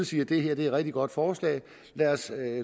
siger det her er et rigtig godt forslag lad os